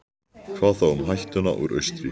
Hvað þá um hættuna úr austri?